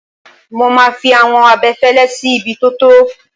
Mo máa fi àwọn abẹfẹ́lẹ́ sí ibi tó tọ́.